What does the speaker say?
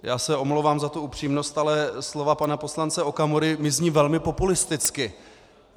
Já se omlouvám za tu upřímnost, ale slova pana poslance Okamury mi zní velmi populisticky.